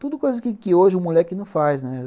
Tudo coisas que que hoje o moleque não faz, né?